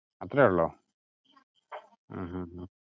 അത്രേ ഉള്ളോ ഹും ഹും